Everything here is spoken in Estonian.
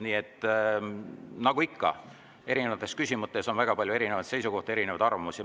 Nii et nagu ikka, erinevates küsimustes on väga palju erinevaid seisukohti, erinevaid arvamusi.